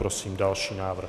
Prosím další návrh.